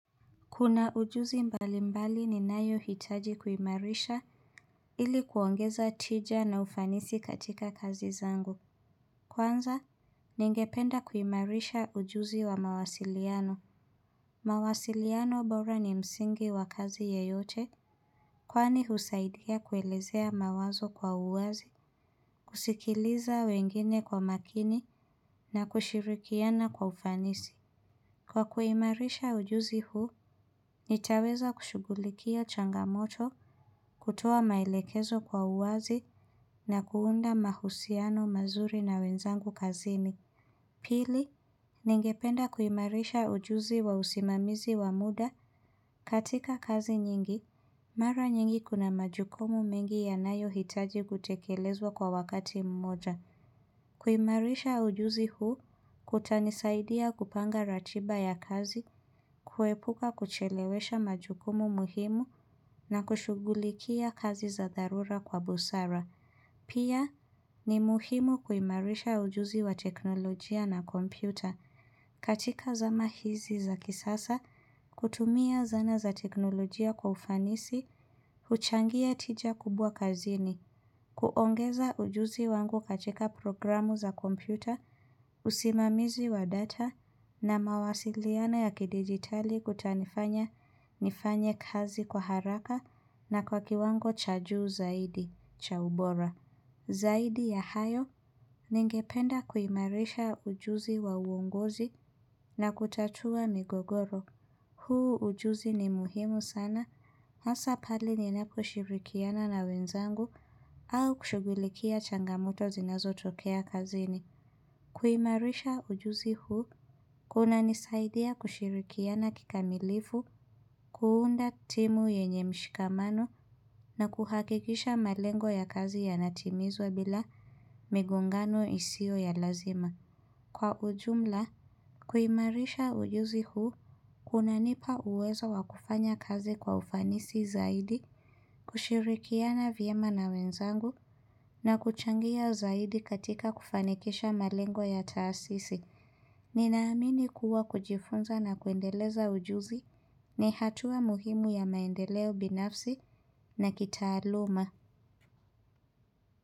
Kuna ujuzi mbali mbali ni nayo hitaji kuimarisha ili kuongeza tija na ufanisi katika kazi zangu. Kwanza, ningependa kuimarisha ujuzi wa mawasiliano. Mawasiliano bora ni msingi wa kazi yeyote kwani husaidia kuelezea mawazo kwa uwazi, kusikiliza wengine kwa makini na kushirikiana kwa ufanisi. Kwa kuimarisha ujuzi huu, nitaweza kushugulikia changamoto kutuwa mailekezo kwa uwazi na kuunda mahusiano mazuri na wenzangu kazimi. Pili, ningependa kuimarisha ujuzi wa usimamizi wa muda katika kazi nyingi, mara nyingi kuna majukomu mengi ya nayo hitaji gutekelezwa kwa wakati mmoja. Kuimarisha ujuzi huu, kutanisaidia kupanga ratiba ya kazi, kuepuka kuchelewesha majukumu muhimu na kushugulikia kazi za darura kwa busara Pia ni muhimu kuimarisha ujuzi wa teknolojia na kompyuta katika zama hizi za kisasa, kutumia zana za teknolojia kwa ufanisi, huchangia tija kubwa kazini kuongeza ujuzi wangu kachika programu za kompyuta, usimamizi wa data na mawasiliana ya kidigitali kutanifanya nifanya kazi kwa haraka na kwa kiwango cha juu zaidi, cha ubora. Zaidi ya hayo, ningependa kuimarisha ujuzi wa uongozi na kutatua migogoro. Huu ujuzi ni muhimu sana, hasa pali ninako shirikiana na wenzangu au kushugulikia changamoto zinazo tokea kazini. Kuimarisha ujuzi huu, kuna nisaidia kushirikiana kikamilifu, kuunda timu yenye mshikamano na kuhakikisha malengo ya kazi ya natimizwa bila migungano isio ya lazima. Kwa ujumla, kuimarisha ujuzi huu, kuna nipa uweza wakufanya kazi kwa ufanisi zaidi, kushirikiana vyema na wenzangu, na kuchangia zaidi katika kufanikisha malengo ya taasisi. Ninaamini kuwa kujifunza na kuendeleza ujuzi, ni hatua muhimu ya maendeleo binafsi na kitaaluma.